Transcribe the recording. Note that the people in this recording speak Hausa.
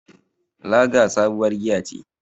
Lager sabuwar giya ce.